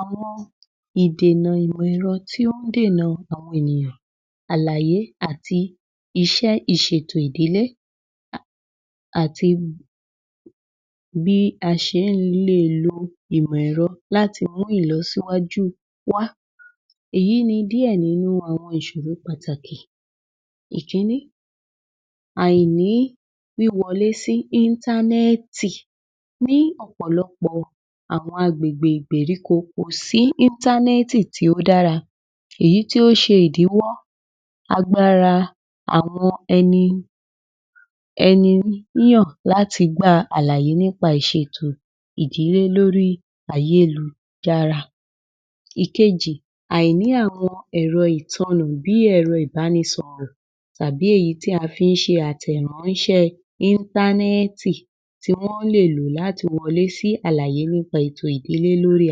Àwọn èdè tí ó ń dènà àlàyé àti iṣẹ́ ìṣètò ìdílé àti bí a ṣe ń le è lo ìmọ̀-ẹ̀rọ láti mú ìlọsíwájú wá. Èyí ni díẹ̀ nínú àwọn ìṣòro pàtàkì ìkíní àìní wíwọlé sí íńtánẹ́ẹ̀tì ní ọ̀pọ̀lọpọ̀ àwọn agbègbè ìgbèríkó kò sí íńtánẹ́ẹ̀tì tí ó dára èyí tí ó ṣe ìdíwọ́ agbára àwọn ẹni láti gba àlàyé nípa ìsètò ìdílé lórí ayélujára. Ìkejì- àìní àwọn ẹ̀rọ bí ẹ̀rọ ìbánisọrọ̀ tàbí èyí tí a fi ń ṣe àtẹ̀ráńṣe íńtánẹ́ẹ̀tì tí wọ́n lè lò láti wọlé sí àlàyé nípa ètò ìdílé lórí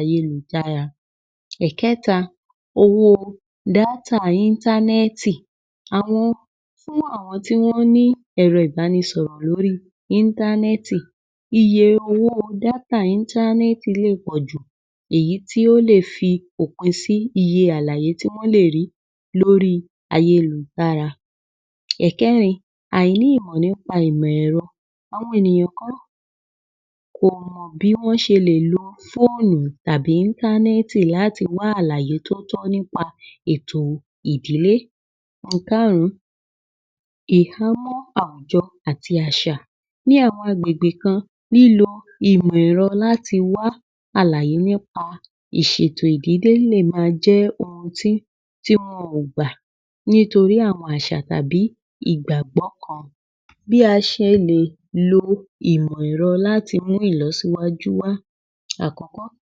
ayélujára. Ìkẹ́ta owó o dátà íńtánẹ́ẹ̀tì- àwọn fún àwọn tí wọ́n ní èrọ ìbánisọ̀rọ̀ lórí i íńtánẹ́ẹ̀tì iye owó o dátà íńtánẹ́ẹ̀tì lè pọ̀jù èyí tí ó lè fi òpin sí iye àlàyé tí wọ́n lè rí lórí ayélutára. Ẹ̀kẹ́rin- àìní ìmọ̀ nípa ìmọ̀-ẹ̀rọ àwọn ènìyàn kan kò mọ̀ bí wọ́n ṣe lè lo fóònù tàbí íńtánẹ́ẹ̀tì láti wá àlàyé tó tọ́ nípa ètò ìdílé. Ìkarùn-ún – ìhámọ̀ àwùjọ àti àṣà ní àwọn agbègbè kan lílọ ìmọ̀-ẹ̀rọ láti wá àlàyé nípa ìṣètò ìdílé níbẹ̀ ma jẹ́ ohun tí wọn ò gbà nítorí àwọn àṣà tàbí ìgbàgbọ́ kan. Bí a ṣe lè lo ìmọ̀-ẹ̀rọ láti mú ìlọsíwájú wá: Àkọ́kọ́-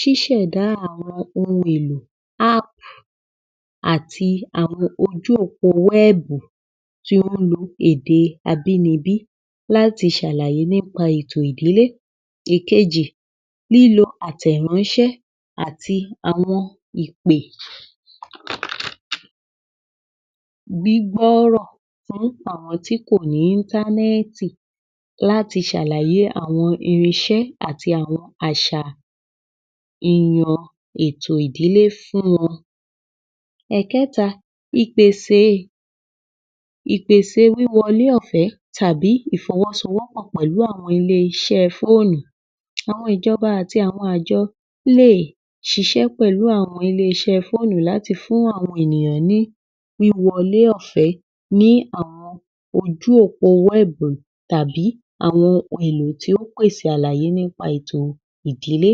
ṣíṣẹ̀dá àwọ ohun èlò App àti àwọn ojú òpó o wẹ́ẹ̀bù tí ó ń lo èdè abínibí láti ṣàlàyé nípa ètò ìdílé. Ìkejì- lílo àtẹ̀ráńṣẹ́ àti àwọn ìpè gbígbọ́rọ̀ tí wọ́n ń p’àwọn tí kò ní íńtánẹ́ẹ̀tì láti ṣe àlàyé àwọn irinṣẹ́ àti àwọn àṣà ètò idílé fún wọn Ẹ̀kẹ́ta- ìpèsè wíwọlé ọ̀fẹ́ tàbí ìfọwọ́sowọ́pọ̀ pẹ̀lú àwọn iléeṣẹ́ ẹ fóònù. Àwọn ìjọba àti àwọn àjọ lè ṣiṣẹ́ pẹ̀lú àwọn iléeṣẹ́ fóònù láti fún àwọn ènìyàn ní ìwọlé ọ̀fẹ́ ní àwọn ojú òpó wẹ́ẹ̀bù tàbí àwọn èlò tí ó ń pèsè àlàyé nípa ètò ìdílé.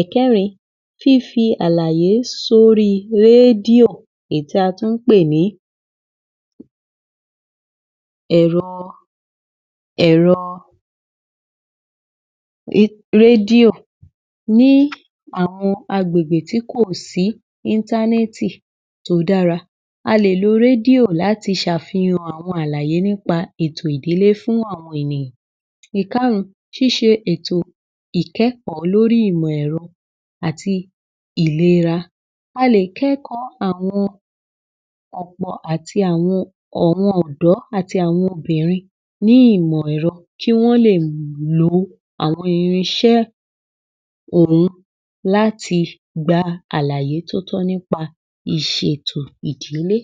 Ẹ̀kẹ́rin- fífi àlàyé sórí i radio èyí tí a tún ń pè ní ẹ̀rọ rédìò ní àwọn agbègbè tí kò sí íńtánẹ́ẹ̀tì tí ó dára. A lè lo rédíò láti fi ṣàfihàn àwọn àlàyé nípa àwọn ètò ìdílé fún àwọn ènìyàn. Ìkárùn-ún - ṣísẹ ètò ìkẹ́kọ̀ọ́ lórí ìmọ̀-ẹ̀rọ àti ìlera. A lè kẹ́kọ̀ọ́ àwọn ọ̀pọ̀ àti àwọn ọ̀dọ́ àti àwọn obìnrin ní ìmọ̀ ẹ̀rọ kí wọ́n lè wo àwọn irinṣé òhun láti gba àlàyé tó tọ́ nípa ìṣètò ìdílé.